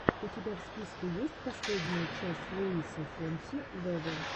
у тебя в списке есть последняя часть луиса фонси вево